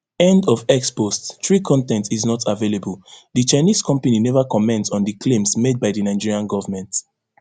end of x post three con ten t is not available di chinese company neva comment on di claims made by di nigerian govment